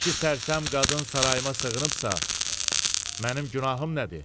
İki sərsəm qadın sarayıma sığınıbsa, mənim günahım nədir?